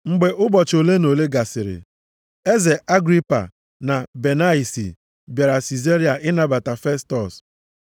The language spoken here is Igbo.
Mgbe ụbọchị ole na ole gasịrị, eze Agripa na Benaisi bịara Sizaria ịnabata Festọs.